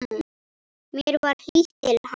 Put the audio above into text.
Mér var hlýtt til hans.